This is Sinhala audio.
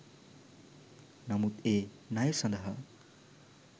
නමුත් ඒ ණය සඳහා